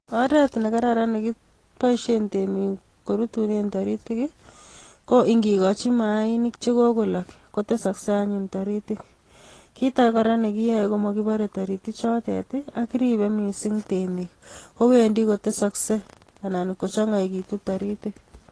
Oret ne kararan negiboisien temik korutunen taritik ii ko ingigochi maanik che kogolok kotesakaksei anyun taritik. Kit age kora ne kiyae ko magibore tarik chotet ii ak kiribe mising temik, kowendi kotesakse anan ko changaitu taritik.